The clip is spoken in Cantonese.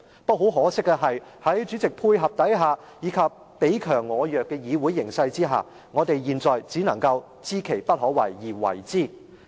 不過，很可惜，在主席配合下，以及彼強我弱的議會形勢下，我們現在只能夠知其不可為而為之。